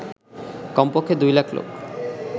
কমপক্ষে ২ লাখ লোক